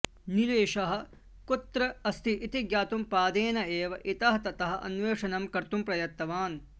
नीलेशः कुत्र अस्ति इति ज्ञातुं पादेन एव इतः ततः अन्वेषणं कर्तुं प्रयत्तवान्